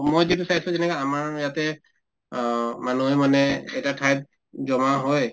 মই কিন্তু চাইছো যেনেকুৱা আমাৰ ইয়াতে অ মানুহে মানে এটা ঠাইত জমা হয়